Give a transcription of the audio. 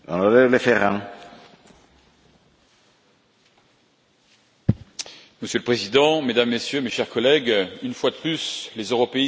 Monsieur le Président, Mesdames et Messieurs, chers collègues, une fois de plus, les européistes montrent que leur véritable volonté, c'est de s'attaquer aux peuples et aux souverainetés nationales.